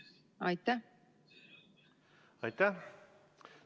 Aitäh!